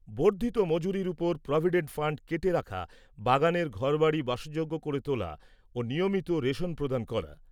বর্ধিত মজুরির উপর প্রভিডেন্ট ফাণ্ড কেটে রাখা, বাগানের ঘরবাড়ি বাসযোগ্য করে তোলা ও নিয়মিত রেশন প্রদান করা।